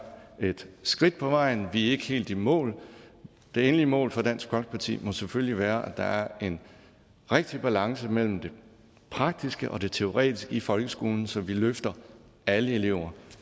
et skridt på vejen vi er ikke helt i mål det endelige mål for dansk folkeparti må selvfølgelig være at der er en rigtig balance mellem det praktiske og teoretiske i folkeskolen så vi løfter alle elever